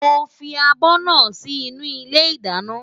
Mo fi abọ́ náà sí inú ilé ìdáná.